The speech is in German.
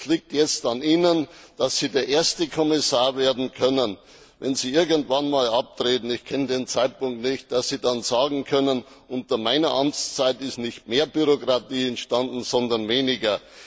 Es liegt jetzt an Ihnen, der erste Kommissar werden zu können wenn Sie irgendwann einmal abtreten, ich kenne den Zeitpunkt nicht der dann sagen kann Unter meiner Amtszeit ist nicht mehr Bürokratie entstanden, sondern weniger.